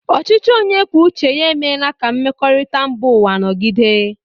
Ọchịchị onye kwuo uche ya emeela ka mmekọrịta mba ụwa nọgide.